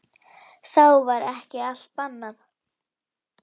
Þá var ekki allt bannað.